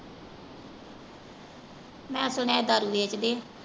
ਮੈਂ ਸੁਣਿਆ ਈ ਦਾਰੂ ਵੇਚਦੇ ਆ।